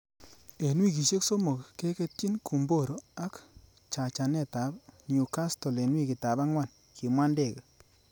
'En wikisiek somok, keketyi Gumboro ak chachanet ab New castle en wikitab angwan,''kimwa Ndege